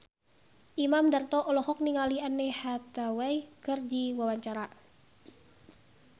Imam Darto olohok ningali Anne Hathaway keur diwawancara